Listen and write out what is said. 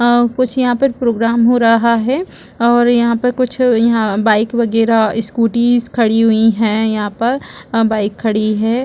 कुछ यहाँ पर प्रोग्राम हो रहा है और यहाँ पर कुछ बाइक वगैरह स्कूटी खड़ी हुई है यहाँ पर अ बाइक खड़ी है।